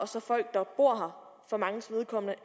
og folk der bor her for manges vedkommende